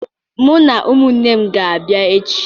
Mụ na ụmụnne m ga-abịa echi.